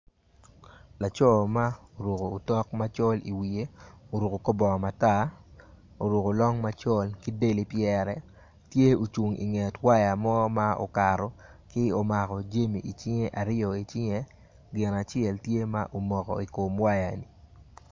Laco ma oruko otok macol iwye oruko kor bongo matar oruko long m acol ki del ipyere tye ocung inget waya mo ma okato ki omako jami icinge aryo icinge gin acel tye ma omoko i kom wayani.